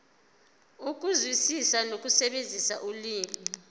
ukuzwisisa nokusebenzisa ulimi